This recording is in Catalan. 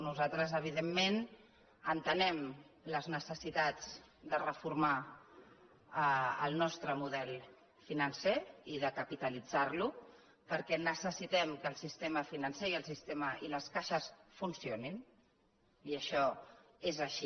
nos·altres evidentment entenem les necessitats de refor·mar el nostre model financer i de capitalitzar·lo perquè necessitem que el sistema financer i les caixes funcio·nin i això és així